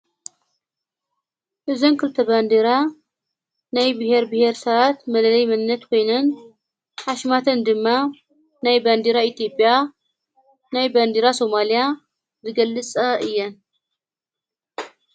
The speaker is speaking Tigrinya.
እዘንክልተ በንዲራ ናይ ብሔር ብሔር ሰኣት መለለይ ምነት ኮይንን ሓሽማተን ድማ ናይ በንዲራ ኢቲጴያ ናይ በንዲራ ሶማልያ ዝገልጸ እየን።